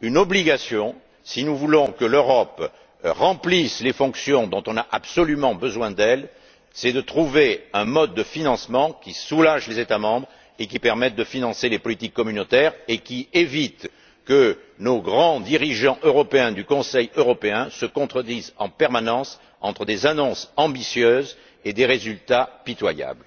l'obligation si nous voulons que l'Europe remplisse les fonctions pour lesquelles on a absolument besoin d'elle de trouver un mode de financement qui soulage les États membres, qui permette de financer les politiques communautaires et qui évite que nos grands dirigeants européens du Conseil européen se contredisent en permanence entre des annonces ambitieuses et des résultats pitoyables.